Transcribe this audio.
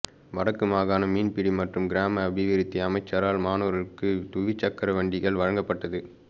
வடக்கு மாகாண மீன்பிடி மற்றும் கிராம அபிவிருத்தி அமைச்சரால் மாணவர்களுக்கு துவிச்சக்கர வண்டிகள் வழங்கப்பட்டது